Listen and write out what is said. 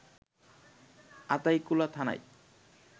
আতাইকুলা থানায়